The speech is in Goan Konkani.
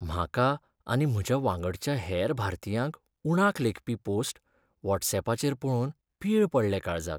म्हाका आनी म्हज्या वांगडच्या हेर भारतीयांक उणाक लेखपी पोस्ट वॉट्सयॅपाचेर पळोवन पीळ पडले काळजाक.